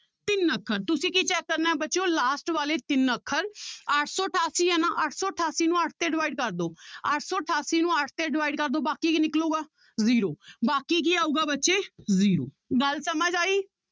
ਤਿੰਨ ਅੱਖਰ ਤੁਸੀਂ ਕੀ check ਕਰਨਾ ਹੈ ਬੱਚਿਓ last ਵਾਲੇ ਤਿੰਨ ਅੱਖਰ ਅੱਠ ਸੌ ਅਠਾਸੀ ਹੈ ਨਾ ਅੱਠ ਸੌ ਅਠਾਸੀ ਨੂੰ ਅੱਠ ਤੇ divide ਕਰ ਦਓ ਅੱਠ ਸੌ ਅਠਾਸੀ ਨੂੰ ਅੱਠ ਤੇ divide ਕਰ ਦਓ ਬਾਕੀ ਕੀ ਨਿਕਲੇਗਾ zero ਬਾਕੀ ਕੀ ਆਊਗਾ ਬੱਚੇ zero ਗੱਲ ਸਮਝ ਆਈ।